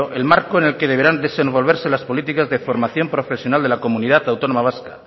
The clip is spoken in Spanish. el marco en el que deberán desenvolverse las políticas de formación profesional de la comunidad autónoma vasca